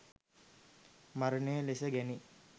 මරණය ලෙස ගැනෙයි.